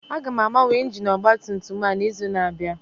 Aga m agbanwe injin ọgba tum tum a n'izu na-abịa